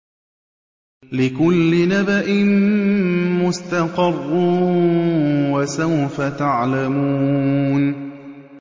لِّكُلِّ نَبَإٍ مُّسْتَقَرٌّ ۚ وَسَوْفَ تَعْلَمُونَ